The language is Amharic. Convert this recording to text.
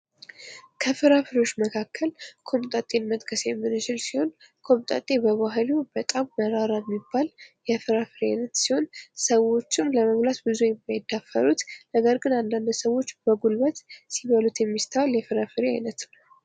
ከፍራፍሬዎች መካከል ቆምጣጤን መጥቀስ የምንችል ሲሆን ቆምጣጤ በባህሪው በጣም መራራ የሚባል የፍራፍሬ አይነት ሲሆን ሰዎችም ለመብላት ጊዜ የማይዳፈሩት ነገር ግን እያንዳንዳቸው ሰዎች በጉልበት ሲበሉት የሚስተዋል የፍራፍሬ አይነት ነው ።